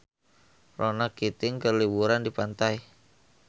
Ronan Keating keur liburan di pantai